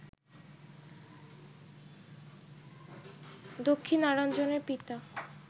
দক্ষিণারঞ্জনের পিতা